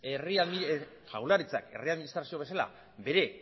jaurlaritzak herri administrazio bezala bere